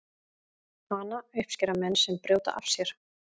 hana uppskera menn sem brjóta af sér